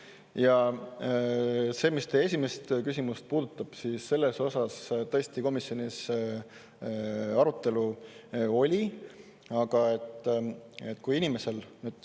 Ja mis teie esimest küsimust puudutab, siis selle üle tõesti komisjonis arutelu oli.